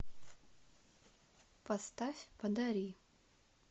поставь подари